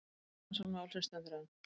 Rannsókn málsins stendur enn.